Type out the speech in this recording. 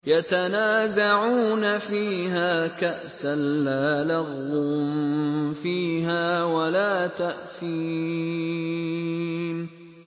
يَتَنَازَعُونَ فِيهَا كَأْسًا لَّا لَغْوٌ فِيهَا وَلَا تَأْثِيمٌ